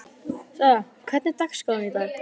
Sara, hvernig er dagskráin í dag?